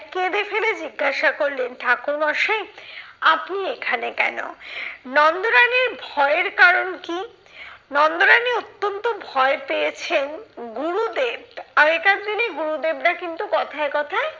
কেঁদে ফেলে জিজ্ঞাসা করলেন ঠাকুরমশাই, আপনি এখানে কেন? নন্দরানীর ভয়ের কারণ কি? নন্দরানী অত্যন্ত ভয় পেয়েছেন গুরুদেব, আগেকার দিনে গুরু দেবরা কিন্তু কথায় কথায়,